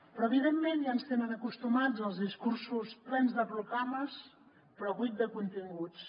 però evidentment ja ens tenen acostumats als discursos plens de proclames però buits de continguts